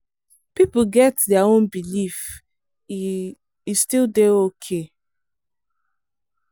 people get their own belief e e still dey okay.